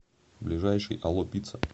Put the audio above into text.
ближайший алло пицца